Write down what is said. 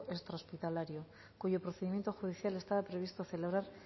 extra hospitalario cuyo procedimiento judicial estaba previsto celebrar